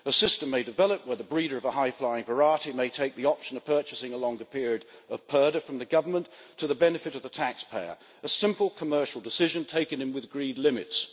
A system may develop where the breeder of a high flying variety may take the option of purchasing a longer period of purdah from the government, to the benefit of the taxpayer a simple commercial decision, taken within agreed limits.